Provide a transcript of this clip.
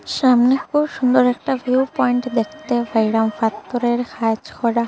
সামনে খুব সুন্দর একটা ভিউ পয়েন্ট পাইলাম পাত্থরের কাজ করা।